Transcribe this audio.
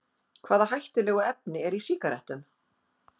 Hvaða hættulegu efni eru í sígarettum?